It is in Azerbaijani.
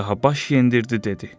Padşaha baş yendirdi dedi: